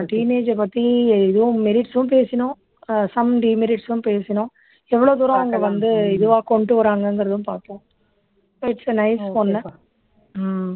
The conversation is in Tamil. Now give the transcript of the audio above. teenage அ பத்தி இதுவும் merits உம் பேசினோம் அஹ் some demerits உம் பேசினோம் எவ்ளோ தூரம் அவங்க வந்து இதுவா கொண்டு வர்றாங்கங்குறதும் பாத்தோம் its a nice one um